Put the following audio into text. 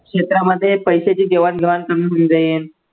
क्षेत्रामध्ये पैशाची देवाण घेवाण कमी होऊन जाईन.